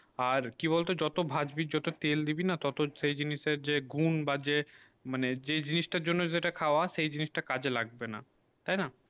আর কি বল তো যত ভাঁজবি যত তেল দিবিনা টোটো সেই জিনিসের যে গুন বা যে মানে যে জিনিস তা জন্য যে তা খাবা সেই খাবা সেই জিনিস তা কাজে লাগবে না তাই না